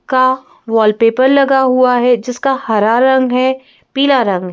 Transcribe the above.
का वॉलपेपर लगा हुआ है जिसका हरा रंग है पीला रंग।